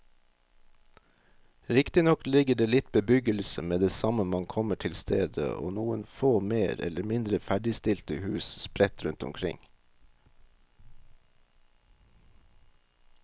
Riktignok ligger det litt bebyggelse med det samme man kommer til stedet og noen få mer eller mindre ferdigstilte hus sprett rundt omkring.